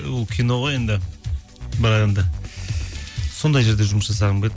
ол кино ғой енді бірақ енді сондай жерде жұмыс жасағым келеді